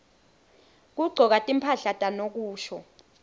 kugcoka timphahla tanokusho